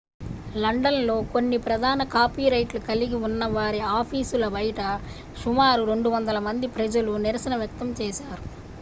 London లో కొన్ని ప్రధాన కాపీరైట్లు కలిగి ఉన్నవారి ఆఫీసుల బయట సుమారు 200 మంది ప్రజలు నిరసన వ్యక్తం చేశారు